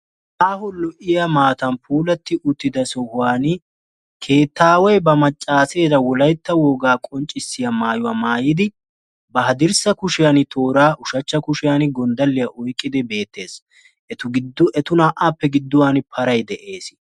Aaho lo"iyaa maatan puulatti utyida sohuwaani keettaaway ba maccaaseera wolayitta wogaa qonccisiya maayuwa maayidi ba haddirsa kushiyan tooraa ushachcha kushiyan gonddalliya oyiqqidi beettes. Etu giddon etu naa"aappe gidduwani paray de"ees.